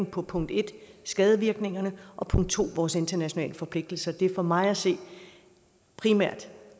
på på 1 skadevirkningerne og 2 vores internationale forpligtelser det er for mig at se primært